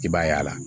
I b'a ye a la